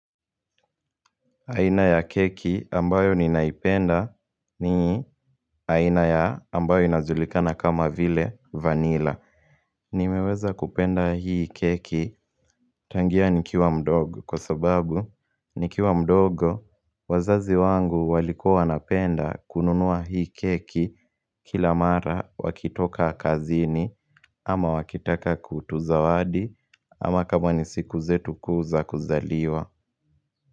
Aina ya keki ambayo ninaipenda ni aina ya ambayo inajulikana kama vile vanilla Nimeweza kupenda hii keki tangia nikiwa mdogo kwa sababu nikiwa mdogo wazazi wangu walikua wanapenda kununua hii keki kila mara wakitoka kazini ama wakitaka kutuzawadi ama kama nisiku zetu kuu za kuzaliwa.